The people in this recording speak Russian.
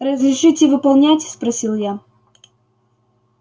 разрешите выполнять спросил я